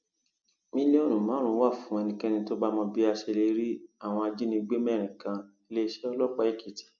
mílíọnù márùnún wà fún ẹnikẹni tó bá mọ bí a ṣe lè rí àwọn ajínigbé mẹrin kaniléeṣẹ ọlọpàá èkìtì